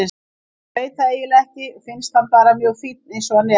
Ég veit það eiginlega ekki, finnst hann bara mjög fínn eins og hann er.